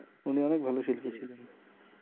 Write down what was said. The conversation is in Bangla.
উনি অনেক ভালো শিল্পী ছিলেন